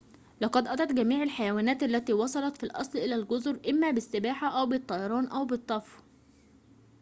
لقد أتت جميع الحيوانات التي وصلت في الأصل إلى الجزر إما بالسباحة أو بالطيران أو بالطفو